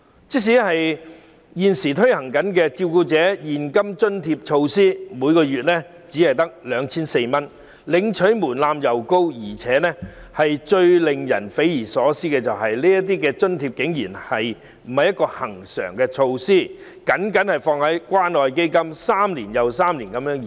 即使現行的照顧者現金津貼，每月亦只得 2,400 元，但申領門檻高，而最令人匪夷所思的是，這項津貼竟非恆常措施，只被納入關愛基金項下，每3年續期1次。